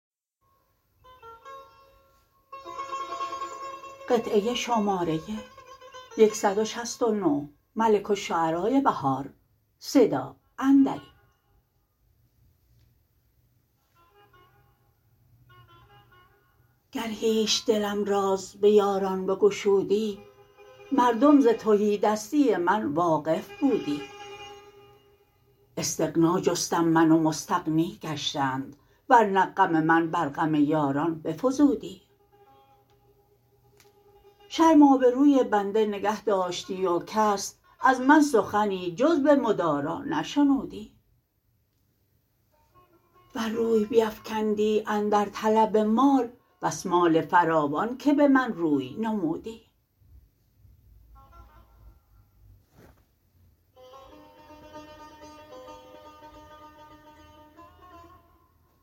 گر هیچ دلم راز به یاران بگشودی مردم زتهیدستی من واقف بودی استغنا جستم من و مستغنی گشتند ورنه غم من بر غم یاران بفزودی شرم آبروی بنده نگهداشتی و کس از من سخنی جز به مدارا نشنودی ور روی بیفکندی اندر طلب مال بس مال فراوان که به من روی نمودی